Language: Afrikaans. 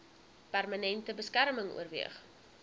permanente beskerming oorweeg